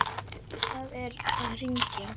Hvað er að hrynja?